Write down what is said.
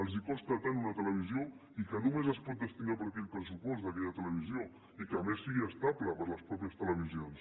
els costa tant una televisió i que només es pot destinar per aquell pressupost d’aquella televisió i que a més sigui estable per les mateixes televisions